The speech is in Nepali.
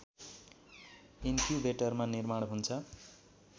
इन्क्युबेटरमा निर्माण हुन्छ